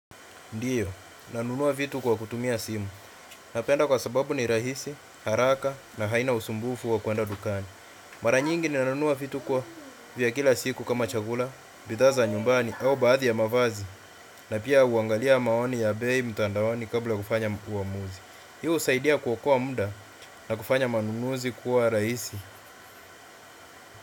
Ndiyo, nanunua vitu kwa kutumia simu. Napenda kwa sababu ni rahisi, haraka na haina usumbufu wa kuenda dukani. Mara nyingi nanunua vitu kwa vya kila siku kama chakula, bidhaa za nyumbani au baadhi ya mavazi, na pia uangalia maoni ya bei mtandaoni kabla kufanya uamuzi. Hio usaidia kuokoa mda na kufanya manunuzi kuwa rahisi.